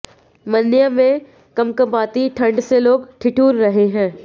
मन्यम में कंपकंपाती ठंड से लोग ठिठुर रहे हैं